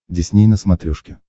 дисней на смотрешке